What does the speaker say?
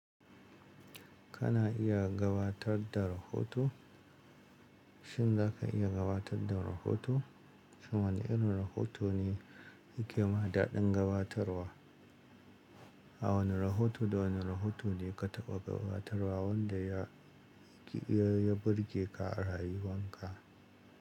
Kana iya gabatar da rahoto? Shin za ka iya gabatar da rahoto? Shin wane irin rahoto ne yake ma daɗin gabatarwa? A wane rahoto da wane rahoto ne ka taɓa gabatarwa wanda ya, ya, ya burge ka a rayuwan ka?